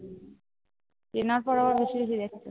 চেনার পর আর অসুবিধে